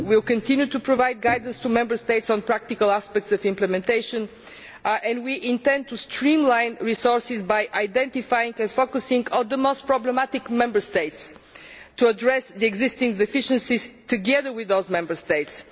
We will continue to provide guidance to Member States on practical aspects of implementation, and we intend to streamline resources by identifying and focusing on the most problematic Member States and to address existing deficiencies together with those Member States.